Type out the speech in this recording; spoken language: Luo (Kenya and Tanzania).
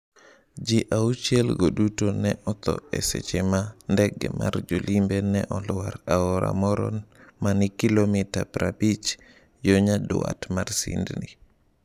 Ji auchiel go duto ne otho e seche ma ndege mar jolimbe ne olwar aora moro ma ni kilomita 50 yo nyandwat mar Sydney.